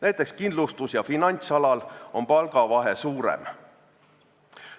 Näiteks kindlustus- ja finantsalal on palgavahe suurem.